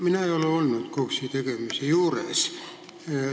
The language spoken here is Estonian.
Mina ei ole olnud KOKS-i tegemise juures.